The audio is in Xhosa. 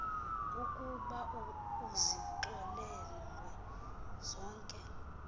ukuba uzixolelwe zonke